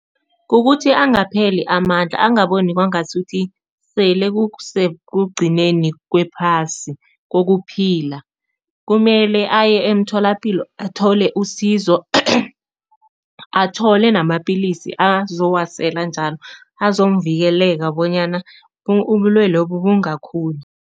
Kukuthi angapheli amandla, angaboni kwangasuthi sele kusekugcineni kwephasi kokuphila. Kumele aye emtholapilo athole usizo athole namapilisi azowasela njalo, azamvikeleka bonyana ubulwelobu bungakhuli.